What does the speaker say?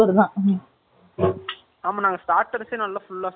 ஆமாம், நாங்க started சே நல்லா full ஆ சாப்பிட்டோம்